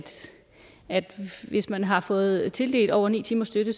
hvis man har fået tildelt over ni timers støtte